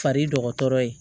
Fari dɔgɔtɔrɔ ye